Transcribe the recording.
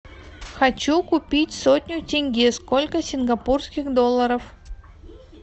хочу купить сотню тенге сколько сингапурских долларов